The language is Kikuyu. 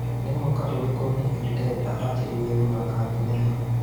nĩ mwaka ũrikũ Nick Denda ajĩrĩirie gũthaka thĩnema